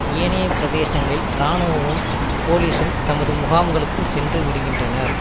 ஏனைய பிரதேசங்களில் இராணுவமும் போலிசும் தமது முகாம்களுக்கு சென்று விடுகின்றனர்